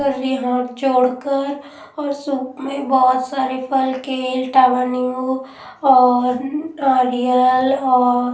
कर रही हाथ जोड़कर और सूप में बहुत सारे फल केल टावर नीमू और नारियल और--